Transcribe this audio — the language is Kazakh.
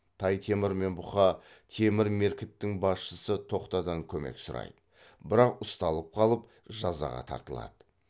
тай темір мен бұқа темір меркіттің басшысы тоқтадан көмек сұрайды бірақ ұсталып қалып жазаға тартылады